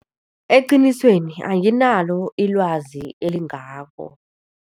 Eqinisweni anginalo ilwazi elingako.